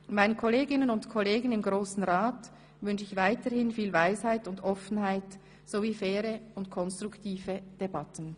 Meinen Kolleginnen und Kollegen im Grossen Rat wünsche ich weiterhin viel Weisheit und Offenheit sowie faire und konstruktive Debatten.